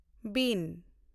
ᱵᱤᱱ